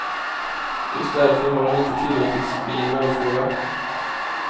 Just därför har den inte tillåtits bli en valfråga.